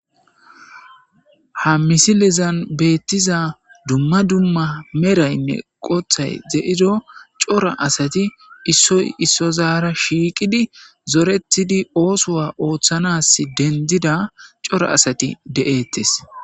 Ha misilizan beettiza dumma dumma meraynne qothay ze'ido cora asati issoy issozaara shiiqidi zoretidi oosowa ooththanas dendida cora asati de'ettes